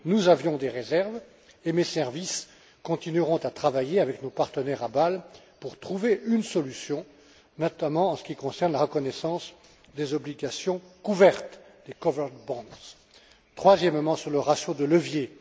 Nous avions des réserves et mes services continueront à travailler avec nos partenaires à Bâle pour trouver une solution, notamment en ce qui concerne la reconnaissance des obligations couvertes, des covered bonds Troisièmement, sur le ratio de levier.